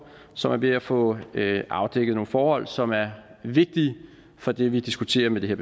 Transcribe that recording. som er ved at få afdækket nogle forhold som er vigtige for det vi diskuterer med det